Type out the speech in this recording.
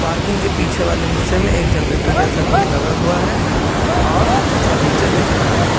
Parking के पीछे वाले हिस्से में एक जनरेटर जैसा कुछ लगा हुआ है और फर्नीचर दिख रहा है।